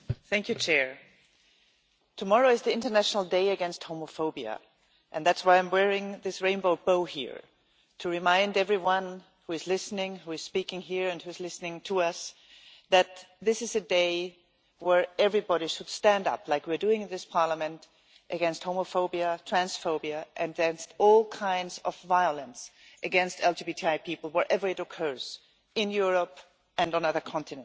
Mr President, tomorrow is the International Day Against Homophobia, and that is why I am wearing this rainbow here to remind everyone who is listening, who is speaking here and who is listening to us that this is a day where everybody should stand up, like we are doing in this Parliament, against homophobia, transphobia, against all kinds of violence against LGBTI people wherever it occurs, in Europe and on other continents.